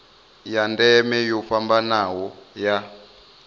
ya ndeme yo fhambanaho ya